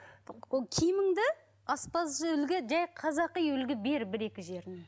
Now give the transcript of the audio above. киіміңді аспазшы үлгі жай қазақи үлгі бер бір екі жеріне